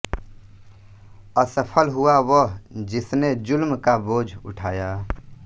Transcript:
असफल हुआ वह जिसने ज़ुल्म का बोझ उठाया